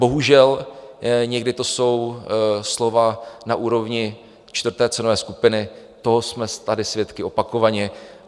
Bohužel někdy to jsou slova na úrovni čtvrté cenové skupiny, toho jsme tady svědky opakovaně.